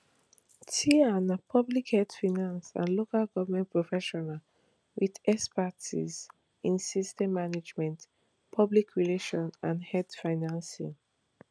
tia na public health finance and local goment professional wit expertise in systems management public relations and health financing